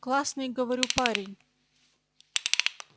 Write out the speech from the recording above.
классный говорю парень